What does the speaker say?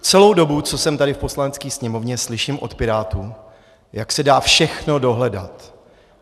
Celou dobu, co jsem tady v Poslanecké sněmovně, slyším od pirátů, jak se dá všechno dohledat.